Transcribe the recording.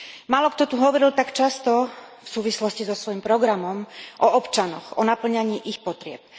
Málokto tu hovoril tak často, v súvislosti so svojím programom, o občanoch, o napĺňaní ich potrieb.